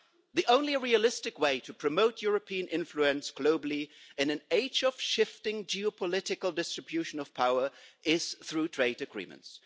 The only realistic way to promote European influence globally in an age of shifting geopolitical distribution of power is through trade agreements.